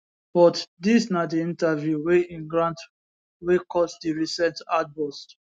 but dis na di interview wey e grant wey cause di recent outburst